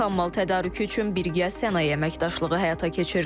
Xam mal tədarükü üçün birgə sənaye əməkdaşlığı həyata keçirilir.